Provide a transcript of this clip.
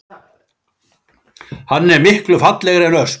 Hann er miklu fallegri en ösp